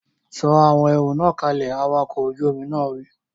Sọ àwọn ẹrù náà kalẹ̀! Awakọ̀ ojú omi náà wí!